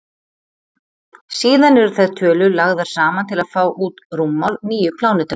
Síðan eru þær tölur lagðar saman til að fá út rúmmál nýju plánetunnar.